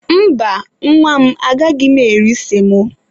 Mba, nwa m agaghị m eri semo.